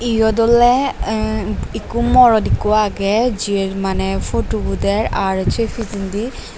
eyot ole em ekko morot ekko agey jiber mane phutu bo der arr se pichendi.